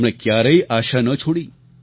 તેમણે ક્યારેય આશા ન છોડી